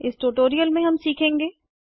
इस ट्यूटोरियल में हम सीखेंगे